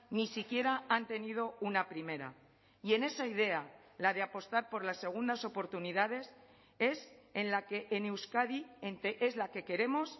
ni siquiera han tenido una primera y en esa idea la de apostar por las segundas oportunidades es en la que en euskadi es la que queremos